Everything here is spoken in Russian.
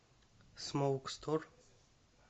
смоук стор